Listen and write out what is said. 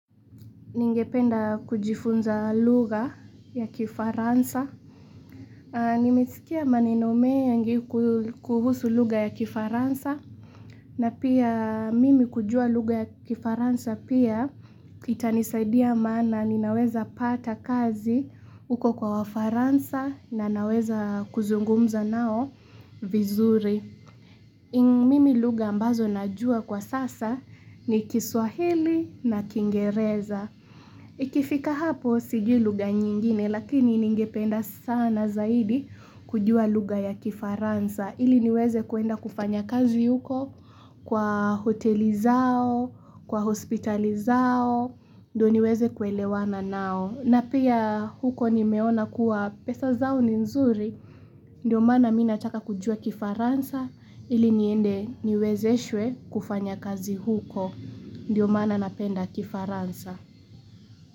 Ningependa kujifunza lugha ya kifaransa. Nimesikia maneno mengi kuhusu lugha ya kifaransa. Na pia mimi kujua lugha ya kifaransa pia itanisaidia maana ninaweza pata kazi uko kwa wafaransa na naweza kuzungumza nao vizuri. Mimi lugha ambazo najua kwa sasa ni kiswahili na kingereza. Ikifika hapo sijui lugha nyingine lakini ningependa sana zaidi kujua lugha ya kifaransa ili niweze kuenda kufanya kazi huko kwa hoteli zao, kwa hospitali zao, ndoniweze kuelewana nao. Na pia huko nimeona kuwa pesa zao ni nzuri, ndio maana mimi nataka kujua kifaransa ili niende niwezeshwe kufanya kazi huko, ndio mana napenda kifaransa.